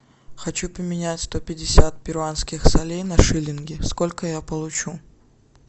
хочу поменять сто пятьдесят перуанских солей на шиллинги сколько я получу